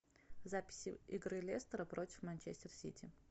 запись игры лестера против манчестер сити